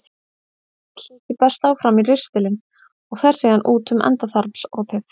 Lítill hluti berst áfram í ristilinn og fer síðan út um endaþarmsopið.